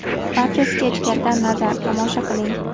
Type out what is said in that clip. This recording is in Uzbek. Barchasiga ichkaridan nazar: tomosha qiling.